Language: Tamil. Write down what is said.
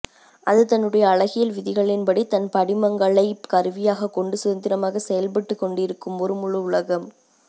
அது தன்னுடைய அழகியல் விதிகளின்படி தன் படிமங்களைக் கருவியாகக் கொண்டு சுதந்திரமாக செயல்பட்டுக்கொண்டிருக்கும் ஒரு முழு உலகம்